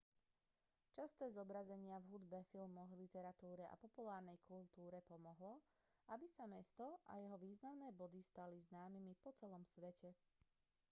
časté zobrazenia v hudbe filmoch literatúre a populárnej kultúre pomohlo aby sa mesto a jeho významné body stali známymi po celom svete